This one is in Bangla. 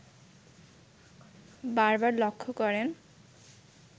বারবার লক্ষ্য করেন